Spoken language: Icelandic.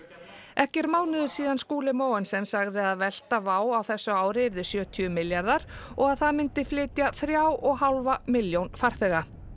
ekki er mánuður síðan Skúli Mogensen sagði að velta WOW á þessu ári yrði sjötíu milljarðar og að það myndi flytja þrjár og hálfa milljón farþega